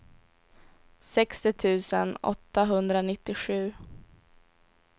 sextio tusen åttahundranittiosju